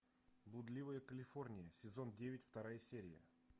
блудливая калифорния сезон девять вторая серия